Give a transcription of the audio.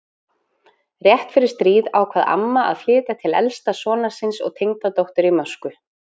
Rétt fyrir stríð ákvað amma að flytja til elsta sonar síns og tengdadóttur í Moskvu.